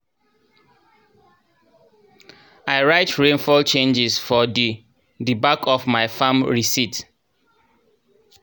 i write rainfall changes for di di back of my farm risit